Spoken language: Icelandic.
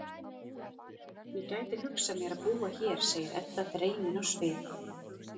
Ég gæti hugsað mér að búa hér, segir Edda dreymin á svip.